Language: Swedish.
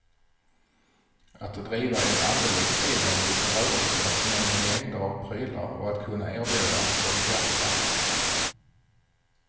Att driva en alldeles egen liten rörelse men med mängder av prylar och att kunna erbjuda dem till andra.